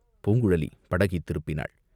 பூங்குழலி படகைத் திருப்பினாள்.